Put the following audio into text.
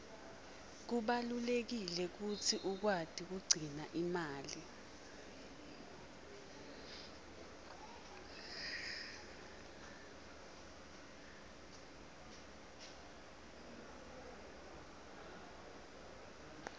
kubalulekile kutsi ukwati kugcina imali